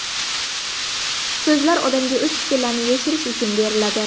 So‘zlar odamga o‘z fikrlarini yashirish uchun beriladi.